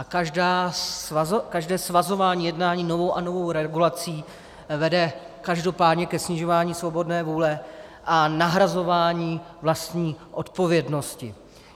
A každé svazování jednání novou a novou regulací vede každopádně ke snižování svobodné vůle a nahrazování vlastní odpovědnosti.